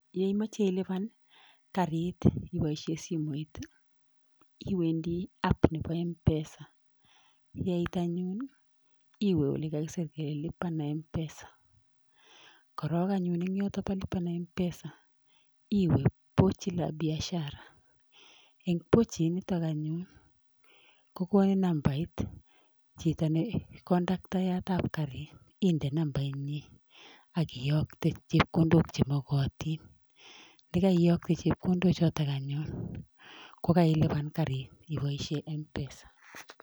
Ye imoche ilipan karit iboisien simoit, iwendi app nebo M-Pesa. Yeit anyun iwe ole kakisir kele lipa na M-Pesa. Korong anyun en yoto yebo lipa na mpesa iwe pochi la biashara. En pochi inito anyun kogonin nambait chito ne kondaktayat ab karit inde nambainyin ak iyokte chepkondok che mogotin. Ye kaiyokte chepkondok choton anyun kokailipan karit iboishen M-Pesa.